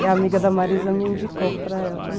E a amiga da Marisa me indicou para ela, né?